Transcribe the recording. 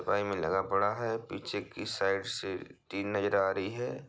में लगा पड़ा है पीछे की साइड से टीन नजर आ रही है।